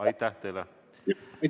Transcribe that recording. Aitäh teile!